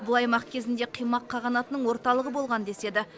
бұл аймақ кезінде қимақ қағанатының орталығы болған деседі